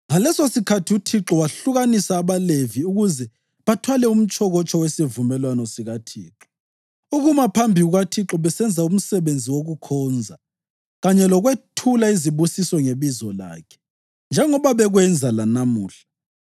Ngalesosikhathi uThixo wehlukanisa abaLevi ukuze bathwale umtshokotsho wesivumelwano sikaThixo, ukuma phambi kukaThixo besenza umsebenzi wokukhonza kanye lokwethula izibusiso ngebizo lakhe, njengoba bekwenza lanamuhla.